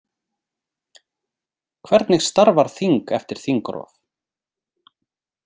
Hvernig starfar þing eftir þingrof?